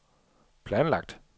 planlagt